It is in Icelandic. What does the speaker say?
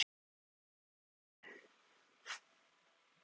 Er það unglingadrykkja?